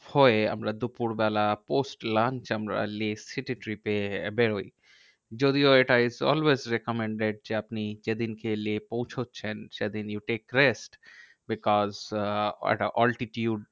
হয়ে আমরা দুপুরবেলা post lunch আমরা লেহ city trip এ বেরহই। যদিও এটা is always recommended যে আপনি যেদিনকে লেহ পৌঁছচ্ছেন সেদিন you take rest. because uh একটা altitude